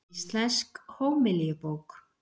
Íslensk hómilíubók.